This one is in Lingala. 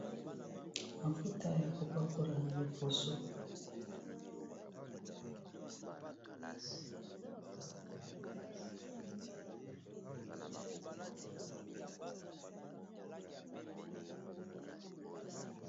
Mafuta ya kopakola na loposo.